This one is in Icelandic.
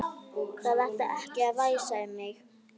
Það ætti ekki að væsa um þig.